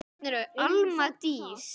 Alma Dís.